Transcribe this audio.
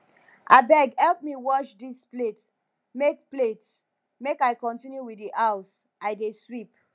abeg help me wash dis plate make plate make i continue with the house i dey sweep